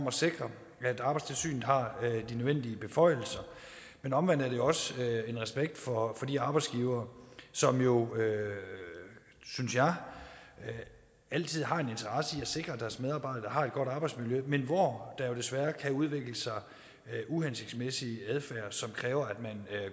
at sikre at arbejdstilsynet har de nødvendige beføjelser men omvendt er det også en respekt for de arbejdsgivere som jo synes jeg altid har en interesse i at sikre at deres medarbejdere har et godt arbejdsmiljø men hvor der desværre kan udvikle sig uhensigtsmæssig adfærd som kræver at man